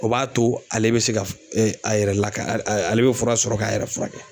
O b'a to ale bɛ se ka a yɛrɛ lakana ale bɛ fura sɔrɔ k'a yɛrɛ fura kɛ.